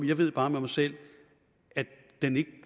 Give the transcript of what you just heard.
jeg ved bare med mig selv at